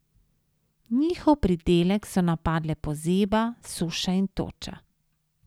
Njihov pridelek so napadle pozeba, suša in toča.